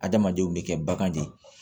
Adamadenw bɛ kɛ bagan de ye